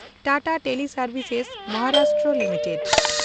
Tata teleservices (Maharashtra) limited